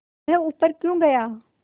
वह ऊपर क्यों गया